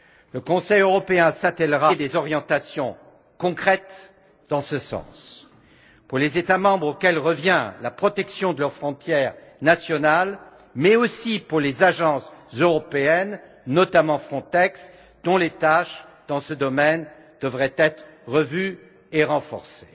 Le Conseil européen s'attellera à donner des orientations concrètes dans ce sens, pour les États membres, auxquels revient la protection de leurs frontières nationales, mais aussi pour les agences européennes, notamment Frontex, dont les tâches dans ce domaine devraient être revues et renforcées.